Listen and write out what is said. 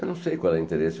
Eu não sei qual é o interesse.